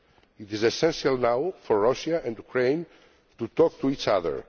priority. It is essential now for Russia and Ukraine to talk to